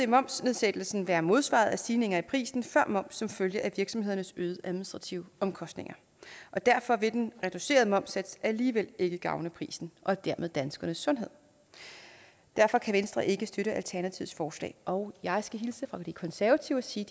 momsnedsættelsen være modsvaret af stigninger i prisen før moms som følge af virksomhedernes øgede administrative omkostninger og derfor vil den reducerede momssats alligevel ikke gavne prisen og dermed danskernes sundhed derfor kan venstre ikke støtte alternativets forslag og jeg skal hilse fra de konservative og sige